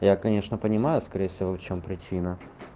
я конечно понимаю скорее всего в чём причина